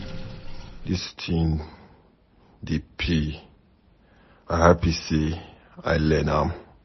Dis thing dey pay, i happy say I learn am.